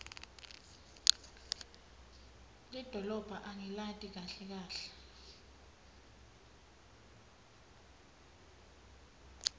lidolobha angilati kahle kahle